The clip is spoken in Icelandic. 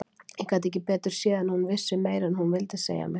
Ég gat ekki betur séð en að hún vissi meira en hún vildi segja mér.